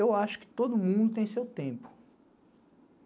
Eu acho que todo mundo tem seu tempo.